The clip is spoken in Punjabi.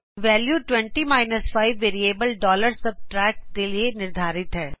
ਵੈਲਿਉ 20 5 ਵੇਰਿਏਬਲ subtract ਦੇ ਲਈ ਨਿਰਧਾਰਿਤ ਹੈ